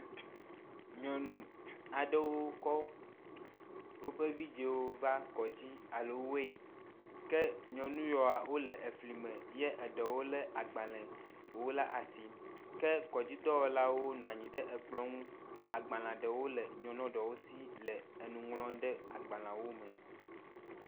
Nyɔnu aɖewo kɔ woƒe vidziwo va kɔdzi alo weyin ke nyɔnu yiwo wo le efli me ye eɖewo le agbalewo ɖe asi ke kɔdzidɔwɔlawo nɔ anyi ɖe ekplɔ nu xɔ agbale ɖewo le nyɔnua ɖewo si le enu ŋlɔm ɖe agbaleawo me.